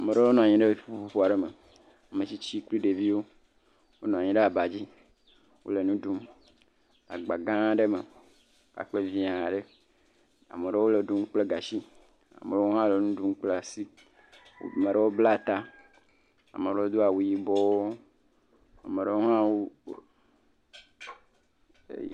Meɖewo nɔ anyi ɖe kpukpo aɖe me. Metsitsi kple ɖevi wonɔ anyi ɖe aba dzi wole nu ɖum agba gãa aɖe me. Akple vi aɖe. Ame aɖewo le ɖum kple gatsi. Ame ɖewo hã la nu ɖum kple asi, maɖewo bla ta, ame aɖewo do awu yibɔ, ame aɖewo hã wo e..